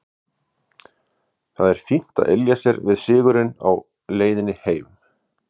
Það er fínt að ylja sér við sigurinn á leiðinni heim.